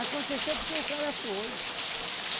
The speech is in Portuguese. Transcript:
porque o cara foi.